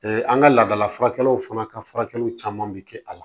an ka laadala furakɛlaw fana ka furakɛliw caman bi kɛ a la